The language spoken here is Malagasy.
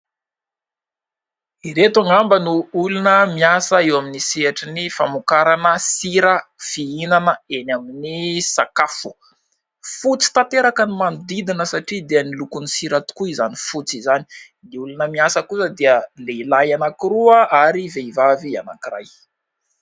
Ireto angamba no olona miasa eo amin'ny sehatry ny famokarana sira fihinana eny amin'ny sakafo. Fotsy tanteraka ny manodidina satria dia ny lokon'ny sira tokoa izany fotsy izany. Ny olona miasa kosa dia lehilahy anankiroa ary vehivavy anankiray.